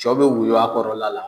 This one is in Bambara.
Sɔ bi woyo a kɔrɔ la la